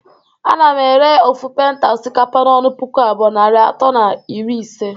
Ana m ere ofu penta osikapa n'ọnụ puku abụọ, narị atọ na iri ise